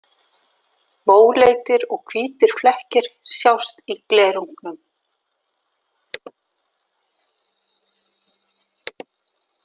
Móleitir og hvítir flekkir sjást í glerungnum.